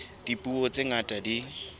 ya dipuo tse ngata di